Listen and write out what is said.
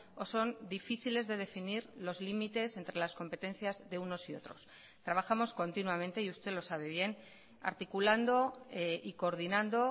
o son difíciles de definir los límites entre las competencias de unos y otros trabajamos continuamente y usted lo sabe bien articulando y coordinando